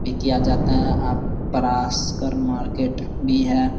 भी किया जाता है अअ पराशकर मार्केट भी है।